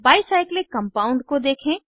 by cyclic compound को देखें